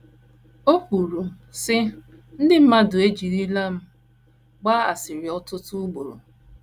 O kwuru, sị: “ Ndị mmadụ ejirila m gbaa asịrị ọtụtụ ugboro.